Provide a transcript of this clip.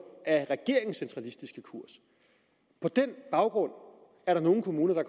af regeringens centralistiske kurs på den baggrund er der nogle kommuner der